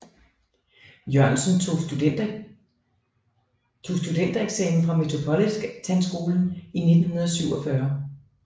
Jørgensen og tog studentereksamen fra Metropolitanskolen i 1947